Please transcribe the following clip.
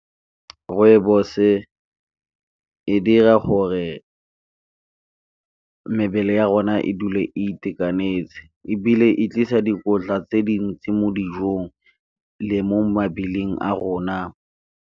Rooibos-e e dira gore mebele ya rona e dule e itekanetse, ebile e tlisa dikotla tse dintsi mo dijong le mo a rona.